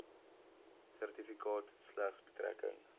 sertifikaat slegs betrekking